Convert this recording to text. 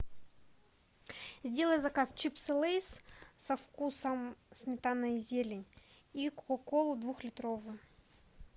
сделай заказ чипсы лейс со вкусом сметана и зелень и кока колу двухлитровую